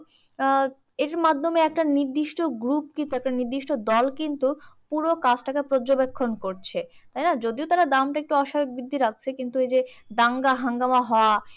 আহ এইযে মাধ্যমে একটা নির্দিষ্ট group কি? একটা নির্দিষ্ট দল কিন্তু পুরো কাজ তাকে পর্যয়বেক্ষণ করছে, তাইনা? যদিও তারা দামটা একটু অস্বাভাবিক বৃদ্ধি রাখছে। কিন্তু ওই যে দাঙ্গা হাঙ্গামা হওয়া